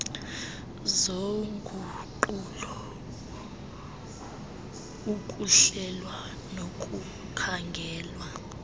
zoguqulo ukuhlelwa nokukhangelwa